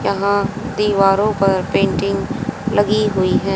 यहां दीवारों पर पेंटिंग लगी हुई है।